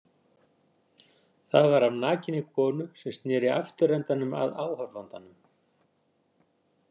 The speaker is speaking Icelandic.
Það var af nakinni konu sem sneri afturendanum að áhorfandanum.